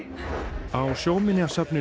á Sjóminjasafninu